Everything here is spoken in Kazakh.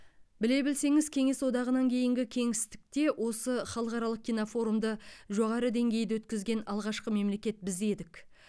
біле білсеңіз кеңес одағынан кейінгі кеңістікте осы халықаралық кинофорумды жоғары деңгейде өткізген алғашқы мемлекет біз едік